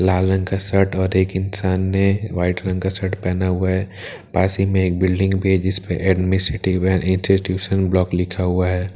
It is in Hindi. लाल रंग का शर्ट और एक इंसान ने व्हाइट रंग का शर्ट पहना हुआ है पास ही में एक बिल्डिंग भी है जिस पर एडमिनिस्ट्रेटिव इंस्टीट्यूशन ब्लॉक लिखा हुआ है।